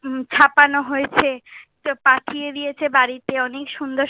ছাপানো হয়েছে। পাঠিয়ে দিয়েছে বাড়িতে, অনেক সুন্দর সুন্দর,